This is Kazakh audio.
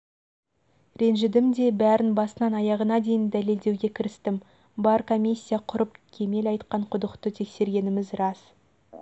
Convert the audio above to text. ренжідім де бәрін басынан аяғына дейін дәлелдеуге кірістім бар комиссия құрып кемел айтқан құдықты тексергеніміз рас